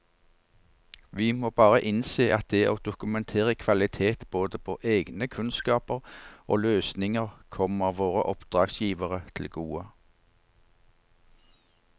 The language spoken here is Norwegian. Vi må bare innse at det å dokumentere kvalitet både på egne kunnskaper og løsninger kommer våre oppdragsgivere til gode.